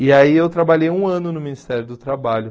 E aí eu trabalhei um ano no Ministério do Trabalho.